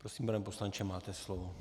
Prosím, pane poslanče, máte slovo.